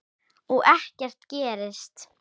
Og ekkert gerist.